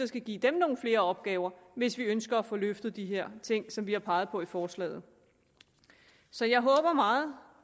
skal give dem nogle flere opgaver hvis vi ønsker at få løftet de her ting som vi har peget på i forslaget så jeg håber meget